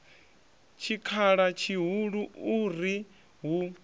tshikhala tshihulu u ri hu